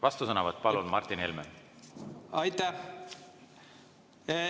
Vastusõnavõtt, palun, Martin Helme!